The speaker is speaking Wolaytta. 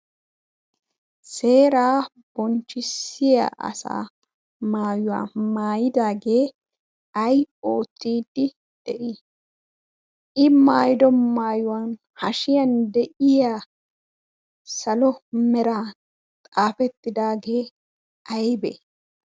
Seeraa bonchchissiya asaa maayuwa maayiydaagee ayi oottidi de"ii? I maayiddo maayuwan hashiyan de'iya salo meran xaafettidaagee aybee?